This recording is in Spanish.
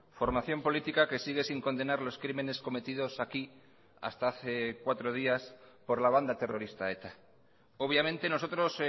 formación política que sigue sin condenar los crímenes cometidos aquí hasta hace cuatro días por la banda terrorista eta obviamente nosotros